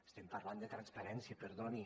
estem parlant de transparència perdoni